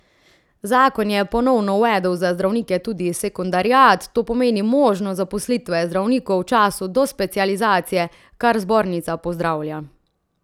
Zakon je ponovno uvedel za zdravnike tudi sekundariat, to pomeni možnost zaposlitve zdravnikov v času do specializacije, kar zbornica pozdravlja.